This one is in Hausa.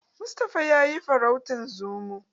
Mustapha ya yi farautan Zomo.